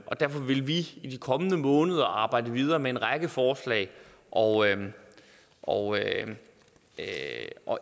og derfor vil vi i de kommende måneder arbejde videre med en række forslag og og et af